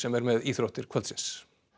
er með íþróttir kvöldsins